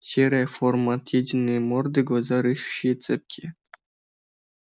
серая форма отъеденные морды глаза рыщущие цепкие